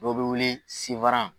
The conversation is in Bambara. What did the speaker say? Dɔ be wuli siwaran